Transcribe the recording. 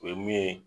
O ye min ye